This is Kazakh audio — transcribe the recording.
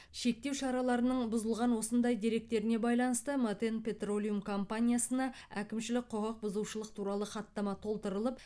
шектеу шараларының бұзылған осындай деректеріне байланысты матен петролиум компаниясына әкімшілік құқық бұзушылық туралы хаттама толтырылып